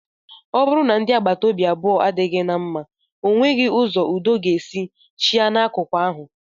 Ọ bụrụ na ndị agbata obi abụọ adịghị na mma, ọ nweghị ụzọ udo ga-esi chịa n'akụkụ ahụ